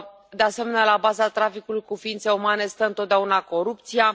De asemenea, la baza traficului cu ființe umane stă întotdeauna corupția.